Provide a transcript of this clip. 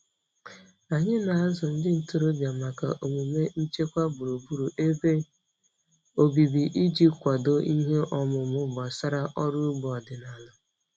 Anyị na-azụ ndị ntorobịa maka omume nchekwa gburugburu ebe obibi iji kwado ihe ọmụma gbasara ọrụ ugbo ọdịnala.